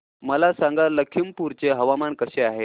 मला सांगा लखीमपुर चे हवामान कसे आहे